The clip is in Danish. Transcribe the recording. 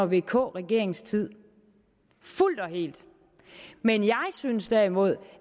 vk regeringens tid fuldt og helt men jeg synes derimod